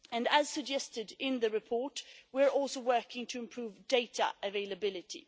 As suggested in the report, we are also working to improve data availability.